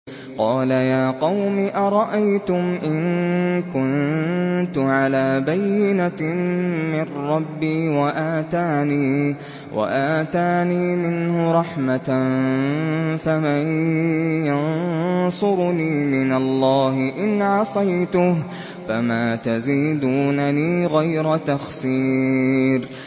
قَالَ يَا قَوْمِ أَرَأَيْتُمْ إِن كُنتُ عَلَىٰ بَيِّنَةٍ مِّن رَّبِّي وَآتَانِي مِنْهُ رَحْمَةً فَمَن يَنصُرُنِي مِنَ اللَّهِ إِنْ عَصَيْتُهُ ۖ فَمَا تَزِيدُونَنِي غَيْرَ تَخْسِيرٍ